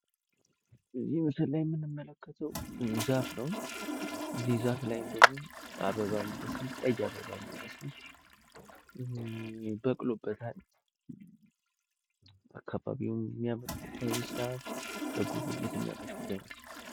እዚ ምስል ላይ የምንመለከተው ዛፍ ነው ፤ እዚ ዛፍ ላይ ቀይ አበባ የሚመስል በቅሎበታል ፤ አካባቢውም የሚያምር ለጉብኝት የሚያመች ቦታ ይመስላል።